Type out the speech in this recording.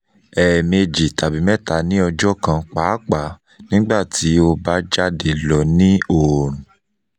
ẹẹmeji tabi mẹta ni ọjọ kan paapaa nigbati o ba jade lọ ni oorun